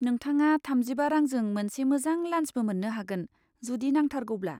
नोंथाङा थामजिबा रांजों मोनसे मोजां लान्सबो मोननो हागोन जुदि नांथारगौब्ला।